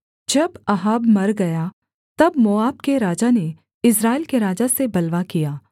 जब अहाब मर गया तब मोआब के राजा ने इस्राएल के राजा से बलवा किया